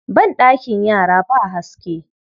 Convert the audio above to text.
Banɗakin yara ba haske.